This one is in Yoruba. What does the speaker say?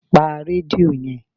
pa redio yen!